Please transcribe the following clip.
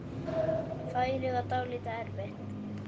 Færið var dálítið erfitt.